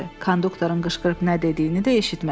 Konduktorun qışqırıb nə dediyini də eşitmədi.